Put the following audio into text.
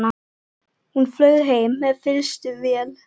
Hún flaug heim með fyrstu vél.